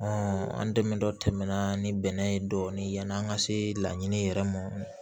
an dɛmɛ dɔ tɛmɛna ni bɛnɛ ye dɔɔnin yann'an ka se laɲini yɛrɛ ma